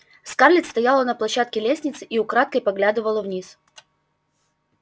скарлетт стояла на площадке лестницы и украдкой поглядывала вниз